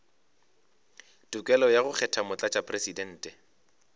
tokelo ya go kgetha motlatšamopresidente